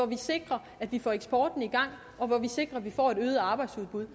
vi sikrer at vi får eksporten i gang og vi sikrer at vi får et øget arbejdsudbud